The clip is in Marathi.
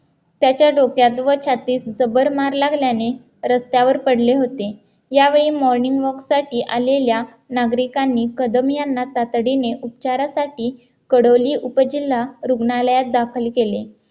त्याच्या डोक्यात व छातीत जबर मार लागल्याने रस्त्यावर पडले होते यावेळी morning walk साठी आलेल्या नागरिकांनी कदम यांना तातडीने उपचारासाठी कडोली उपजिल्हा रुग्णालयात दाखल केले